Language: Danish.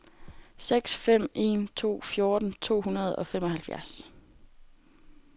seks fem en to fjorten to hundrede og femoghalvfjerds